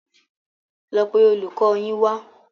Lọ pe olùkọ yín wa